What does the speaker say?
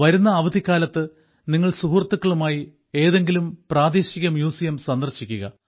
വരുന്ന അവധിക്കാലത്ത് നിങ്ങൾ സുഹൃത്തുക്കളുമായി ഏതെങ്കിലും പ്രാദേശിക മ്യൂസിയം സന്ദർശിക്കുക